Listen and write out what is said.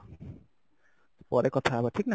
ପରେ କଥା ହବା ଠିକ ନା